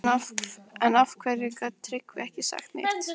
En af hverju gat Tryggvi ekki sagt neitt?